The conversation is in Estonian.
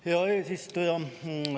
Hea eesistuja!